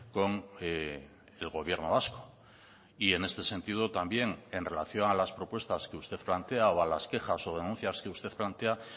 con el gobierno vasco y en este sentido también en relación a las propuestas que usted plantea o a las quejas o denuncias que usted plantea